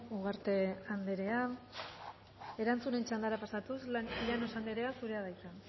ugarte anderea erantzunen txandara pasatuz llanos andrea zurea da hitza